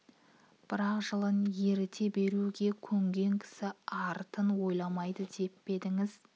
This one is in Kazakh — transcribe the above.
бірақ жылын ерте беру ге көнген кісі артын ойламады деп пе едіңіз